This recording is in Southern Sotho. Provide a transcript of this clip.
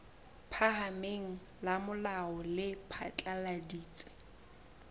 phahameng la molao le phatlaladitse